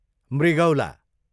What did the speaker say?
मृगौला